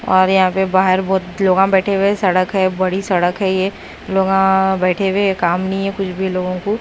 और यहां पे बाहर बहुत लोगां बैठे हुए हैं सड़क है बड़ी सड़क है ये लोगां बैठे हुए हैं काम नहीं है कुछ भी लोगों को।